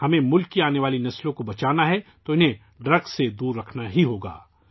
اگر ہم ملک کی آنے والی نسلوں کو بچانا چاہتے ہیں تو ہمیں انہیں منشیات سے دور رکھنا ہی ہوگا